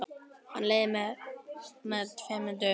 Hann leiðir með tveimur höggum.